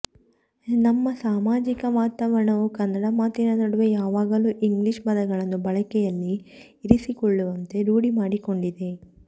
ನಮ್ಮ ಸಾಮಾಜಿಕ ವಾತಾವರಣವು ಕನ್ನಡ ಮಾತಿನ ನಡುವೆ ಯಾವಾಗಲೂ ಇಂಗ್ಲಿಶ್ ಪದಗಳನ್ನು ಬಳಕೆಯಲ್ಲಿ ಇರಿಸಿಕೊಳ್ಳುವಂತೆ ರೂಡಿಮಾಡಿಕೊಂಡಿದೆ